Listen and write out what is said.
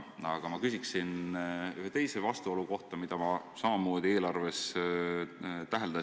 Aga ma küsin ühe teise vastuolu kohta, mida ma samamoodi eelarves täheldan.